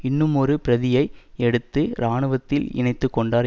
இன்னுமொரு பிரதியை எடுத்து இராணுவத்தில் இணைந்துகொண்டார்